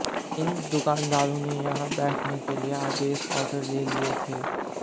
इन दुकानदारों ने यहां बैठने के लिए आदेश आर्डर ले लिए थे